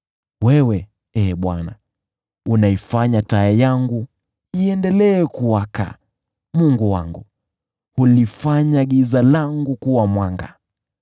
Wewe, Ee Bwana , unaifanya taa yangu iendelee kuwaka; Mungu wangu hulifanya giza langu kuwa mwanga.